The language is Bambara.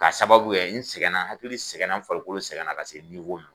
Ka sababu kɛ n sɛgɛn na hakili sɛgɛn na n farikolo sɛgɛn na ka se